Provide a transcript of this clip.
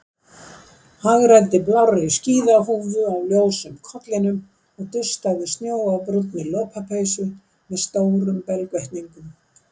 Hagræddi blárri skíðahúfu á ljósum kollinum og dustaði snjó af brúnni lopapeysu með stórum belgvettlingum.